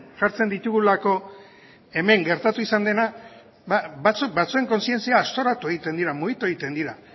jartzen ditugulako hemen gertatu izan dena batzuen kontzientziak aztoratu egiten dira mugitu egiten dira